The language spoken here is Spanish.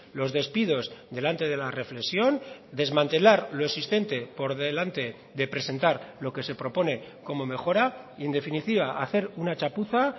los despidos delante de la reflexión desmantelar lo existente por delante de presentar lo que se propone como mejora y en definitiva hacer una chapuza